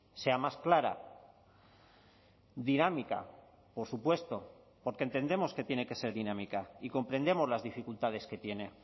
sea más clara dinámica por supuesto porque entendemos que tiene que ser dinámica y comprendemos las dificultades que tiene